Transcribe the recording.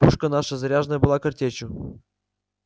пушка наша заряжена была картечью